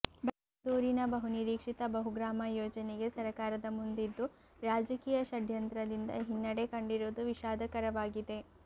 ಬೈಂದೂರಿನ ಬಹುನಿರೀಕ್ಷಿತ ಬಹುಗ್ರಾಮ ಯೋಜನೆಗೆ ಸರಕಾರದ ಮುಂದಿದ್ದು ರಾಜಕೀಯ ಷಡ್ಯಂತ್ರದಿಂದ ಹಿನ್ನಡೆ ಕಂಡಿರುವುದು ವಿಷಾದಕರವಾಗಿದೆ